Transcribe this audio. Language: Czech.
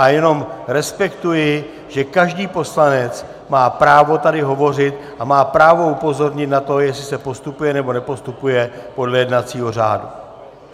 A jenom respektuji, že každý poslanec má právo tady hovořit a má právo upozornit na to, jestli se postupuje, nebo nepostupuje podle jednacího řádu.